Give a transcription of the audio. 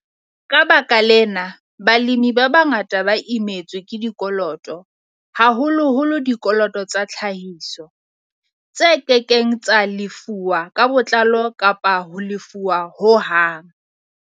Ka baka lena, balemi ba bangata ba imetswe ke dikoloto, haholoholo dikoloto tsa tlhahiso, tse ke keng tsa lefuwa ka botlalo kapa hona ho lefuwa ho hang.